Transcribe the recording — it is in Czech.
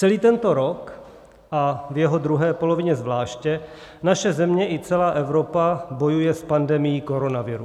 Celý tento rok, a v jeho druhé polovině zvláště, naše země i celá Evropa bojuje s pandemií koronaviru.